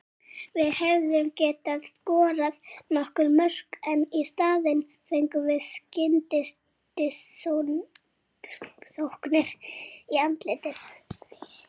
Við hefðum getað skorað nokkur mörk en í staðinn fengum við skyndisóknir í andlitið.